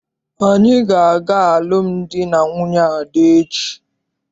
Anyị ga- aga alụmdi na nwunye Ada echi.